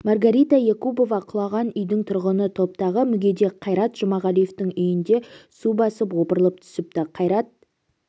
маргарита якубова құлаған үйдің тұрғыны топтағы мүгедек қайрат жұмағалиевтің үйін де су басып опырылып түсіпті қайрат